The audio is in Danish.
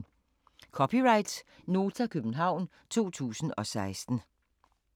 (c) Nota, København 2016